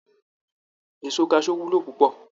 Èso kaṣú wúlò púpọ̀